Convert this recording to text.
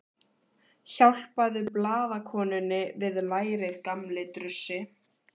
Hjálpaðu blaðakonunni við lærið, gamli drussi.